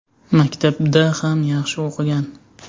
Maktabda ham yaxshi o‘qigan.